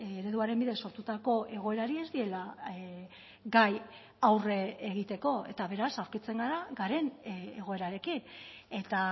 ereduaren bidez sortutako egoerari ez diela gai aurre egiteko eta beraz aurkitzen gara garen egoerarekin eta